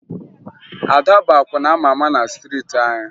Ada bụ akwụna a ma ama na striiti anyị